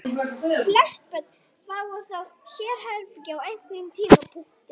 Flest börn fá þó sérherbergi á einhverjum tímapunkti.